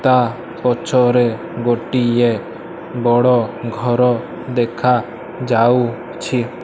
ତା ପଛରେ ଗୋଟିଏ ବଡ଼ ଘର ଦେଖା ଯାଉଛି।